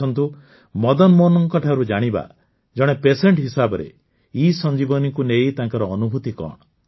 ଆସନ୍ତୁ ମଦନମୋହନଙ୍କଠାରୁ ଜାଣିବା ଜଣେ ପେସେଣ୍ଟ ହିସାବରେ ESanjeevaniକୁ ନେଇ ତାଙ୍କର ଅନୁଭୂତି କଣ